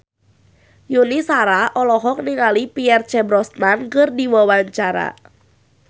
Yuni Shara olohok ningali Pierce Brosnan keur diwawancara